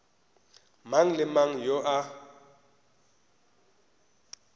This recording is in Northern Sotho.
mang le mang yo a